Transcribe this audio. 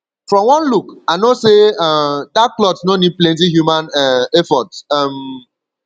from one look i know say um dat cloth no need plenty human um effort um